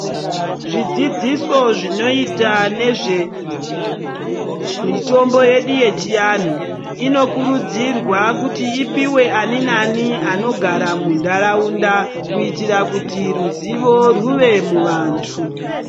Zvidzidziso zvinoita nezvemitombo yedu yechianhu inokurudzirwa kuti ipiwe aninani anogara mundaraunda kuitira kuti ruzivo rwuve muvantu.